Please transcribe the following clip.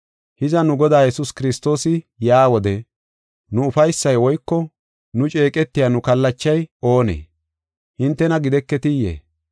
Hiza, nu Godaa Yesuus Kiristoosi yaa wode, nu ufaysay woyko nu ceeqetiya nu kallachay oonee? Hintena gideketiyee?